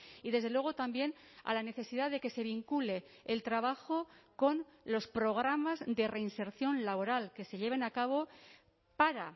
y desde luego también a la necesidad de que se vincule el trabajo con los programas de reinserción laboral que se lleven a cabo para